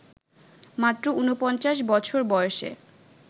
মাত্র ৪৯ বছর বয়সে